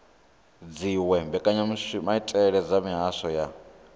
dziwe mbekanyamaitele dza mihasho ya